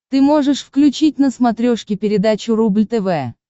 ты можешь включить на смотрешке передачу рубль тв